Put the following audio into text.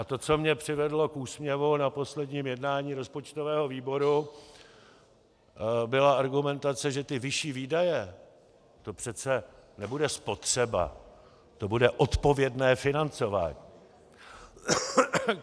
A to, co mě přivedlo k úsměvu na posledním jednání rozpočtového výboru, byla argumentace, že ty vyšší výdaje, to přece nebude spotřeba, to bude odpovědné financování.